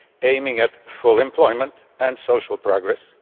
aiming at full employment and social progress.